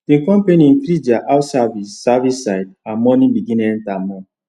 the company increase their house service service side and money begin enter more